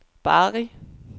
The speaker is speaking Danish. Bari